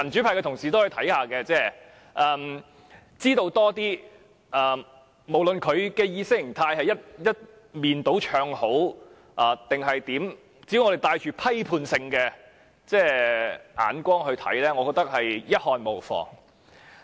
無論該等節目的意識形態是一面倒唱好還是怎樣，只要我們帶批判性眼光，我認為一看無妨。